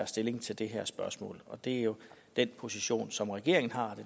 stilling til det her spørgsmål og det er jo den position som regeringen har